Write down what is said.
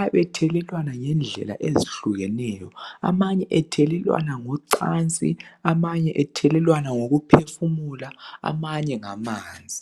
abe thelelwana ngendlela ezihlukeneyo , amanye ethelelwana ngocansi amanye ethelelwana ngokuphefumula amanye ngamanzi